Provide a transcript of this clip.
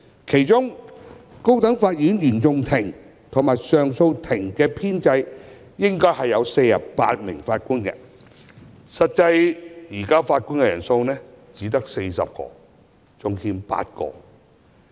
其中，高等法院原訟法庭及上訴法庭的編制應有共48位法官，惟實際法官人數只有40位，尚欠8位。